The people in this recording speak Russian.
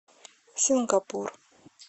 сингапур